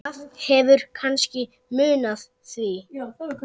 Það hefur kannski munað því.